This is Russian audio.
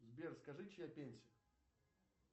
сбер скажи чья песня